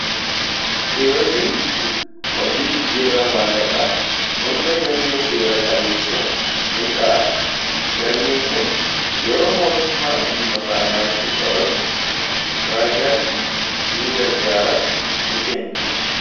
Kiyoziin hojii jijjiirraa maallaqaa hunda galmee seera qabeessa ni kaa'a galmeen kun yeroon mootummaan dhimma faayinaansii qoratu ragaatti ni gargaaraas ni kenna.